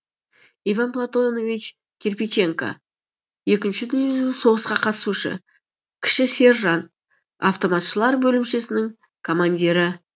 иван платонович кирпиченко екінші дүниежүзілік соғысқа қатысушы кіші сержант автоматшылар бөлімшесінің командирі